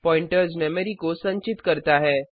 pointers memory को संचित करता है